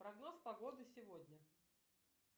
прогноз погоды сегодня